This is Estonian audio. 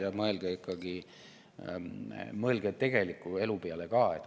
Ja mõelge ikkagi tegeliku elu peale ka.